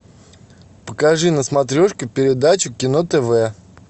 покажи на смотрешке передачу кино тв